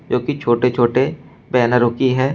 जो कि छोटे छोटे बैनरों की है।